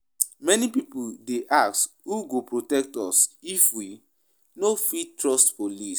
Many pipo dey ask: who go protect us if we no fit trust police?